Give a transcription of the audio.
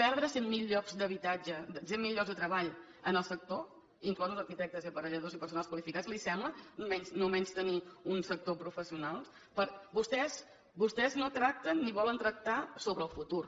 perdre cent mil llocs de treball en el sector inclosos arquitectes i aparelladors i personal qualificat li sembla no menystenir un sector professional vostès no tracten ni volen tractar sobre el futur